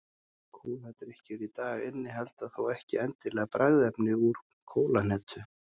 Kóladrykkir í dag innihalda þó ekki endilega bragðefni úr kólahnetu.